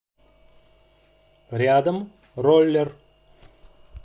рядом роллер